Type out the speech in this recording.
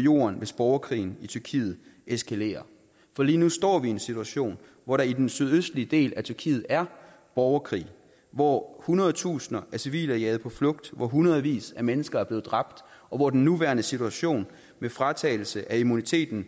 jorden hvis borgerkrigen i tyrkiet eskalerer for lige nu står vi i en situation hvor der i den sydøstlige del af tyrkiet er borgerkrig hvor hundredtusinder af civile er jaget på flugt hvor hundredvis af mennesker er blevet dræbt og hvor den nuværende situation med fratagelse af immuniteten